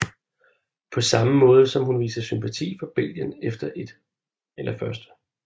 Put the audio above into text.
På samme måde som hun viser sympati for Belgien efter 1